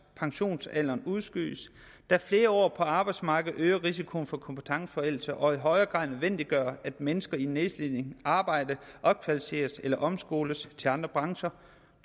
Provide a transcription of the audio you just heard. og pensionsalderen udskydes da flere år på arbejdsmarkedet øger risikoen for kompetenceforældelse og i højere grad nødvendiggør at mennesker i nedslidende arbejde opkvalificeres eller omskoles til andre brancher